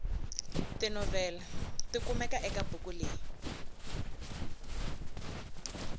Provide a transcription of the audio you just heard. tinoveli tikumeka ekabhuku leyi